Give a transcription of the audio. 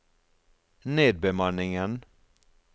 nedbemanningen